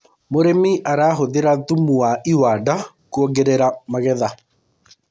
mũrĩmi arahũthira thumu wa iwanda kũongerera magetha